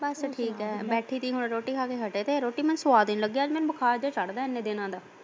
ਬਸ ਠੀਕ ਐ ਬੈਠੇ ਸੀ ਰੋਟੀ ਖਾ ਕੇ ਹਟੇ ਸੀ, ਰੋਟੀ ਮੈਨੂੰ ਸੁਆਦ ਨੀ ਲੱਗੀ ਅੱਜ ਮੈਨੂੰ ਬੁਖਾਰ ਜਿਹਾ ਚੜਦਾ ਇੰਨੇ ਦਿਨਾਂ ਦਾ।